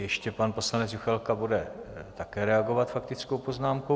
Ještě pan poslanec Juchelka bude také reagovat faktickou poznámkou.